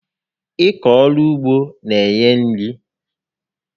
Ịkọ ọrụ ugbo n'enye nri